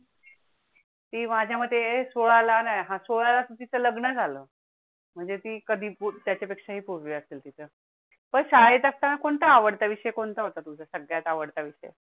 ते माझ्या मध्ये सोळा ना हा सोळा चं तीच लग्न झालं म्हणजे ती कधी त्याच्या पेक्षाही पूर्वी असेल तिथं, पण शाळेत असताना कोणता आवडता विषय कोणता होता? तुमचा सगळ्यात आवडता विषय.